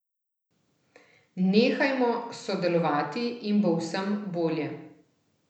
Nehajmo sodelovati in bo vsem bolje.